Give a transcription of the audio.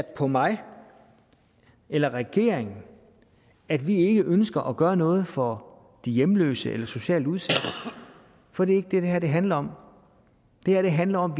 på mig eller regeringen at vi ikke ønsker at gøre noget for de hjemløse eller socialt udsatte for det er det handler om det her handler om at